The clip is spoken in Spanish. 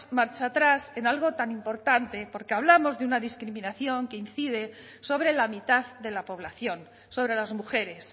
marcha atrás en algo tan importante porque hablamos de una discriminación que incide sobre la mitad de la población sobre las mujeres